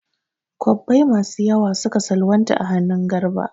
Kwabbai masu yawa suka salwanta a hannun Garba.